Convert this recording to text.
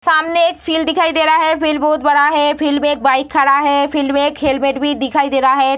सामने एक फील्ड दिखाई दे रहा है फील्ड बहोत बड़ा है फील्ड में एक बाइक खड़ा है फील्ड मे एक हेलमेट भी दिखाई दे रहा है।